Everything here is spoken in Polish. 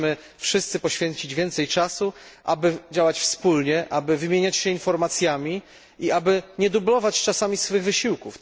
Musimy wszyscy poświęcić więcej czasu, aby działać wspólnie, aby wymieniać się informacjami i aby nie dublować czasami swych wysiłków.